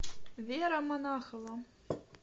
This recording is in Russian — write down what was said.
вера монахова